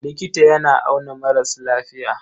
Likita yana auna maras lafiya.